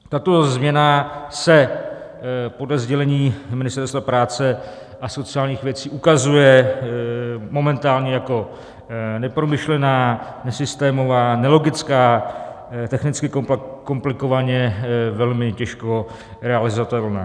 Tato změna se podle sdělení Ministerstva práce a sociálních věcí ukazuje momentálně jako nepromyšlená, nesystémová, nelogická, technicky komplikovaně, velmi těžko realizovatelná.